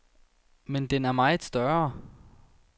Men den er meget større.